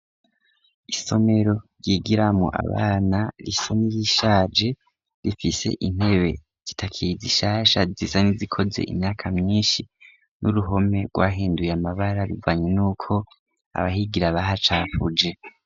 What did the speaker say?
Isomero ryigiramo abana risa nirishaje rifise intebe zitakiri zishasha zisa n'izikoze imyaka myinshi n'uruhome rwahinduye amabara bivanye n'uko abahigira bahacapfuje.